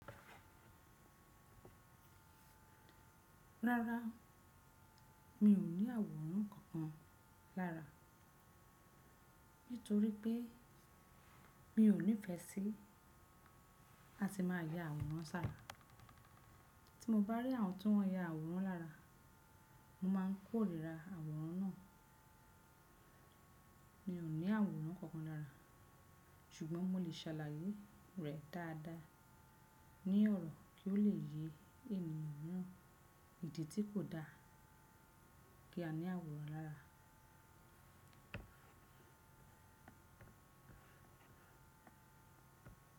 Rárá, mi ò ní àwòrán kankan lára, nítorí pé mi ò nífẹsí láti máa ya àwòrán sára. Tí mo bá rí àwọn tó n ya àwòrán lára, mo máa ń kóríra àwòrán náà. Mi ò ní àwòrán kankan lára, ṣùgbọ́n mo lè ṣàlàyé rẹ̀ dáadáa ní ọ̀rọ̀ kí o lè yé ènìyàn míràn ìdí tí kò da kí a ní àwòrán lára.